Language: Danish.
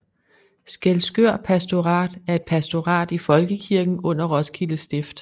Skælskør Pastorat er et pastorat i Folkekirken under Roskilde Stift